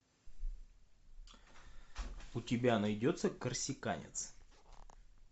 у тебя найдется корсиканец